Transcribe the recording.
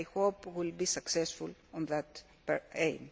I hope we will be successful in that aim.